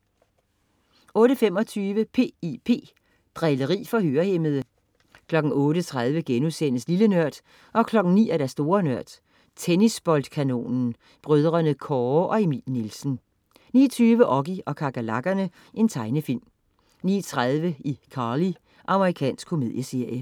08.25 P.I.P. Drilleri for hørehæmmede 08.30 Lille Nørd* 09.00 Store Nørd. Tennisboldkanonen. Brødrene Kåre og Emil Nielsen 09.20 Oggy og kakerlakkerne. Tegnefilm 09.30 iCarly. Amerikansk komedieserie